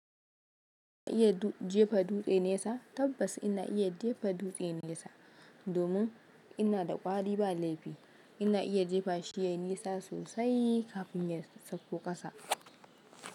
Kana iya jefa duɗe nesa? Tabbas ina iya jefa duɗe nesa domin ina da kwari ba laifi. Ina iya jefa shi yayi nisa sosai kafin ya sauko ƙasa.